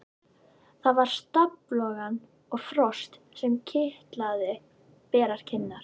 Það var stafalogn og frost sem kitlaði berar kinnar.